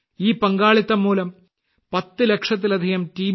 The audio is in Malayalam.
ഈ പങ്കാളിത്തം മൂലം ഇന്ന് 10 ലക്ഷത്തിലധികം ടി